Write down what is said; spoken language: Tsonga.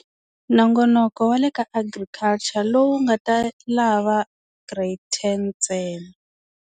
Nongonoko wa le ka Agriculture lowu nga ta lava grade ten ntsena.